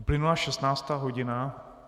Uplynula 16. hodina.